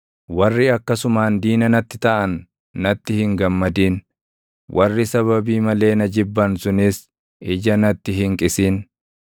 Warri akkasumaan diina natti taʼan natti hin gammadin; warri sababii malee na jibban sunis ija natti hin qisin.